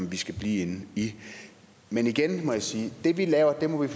vi skal blive i igen må jeg sige at det vi laver må vi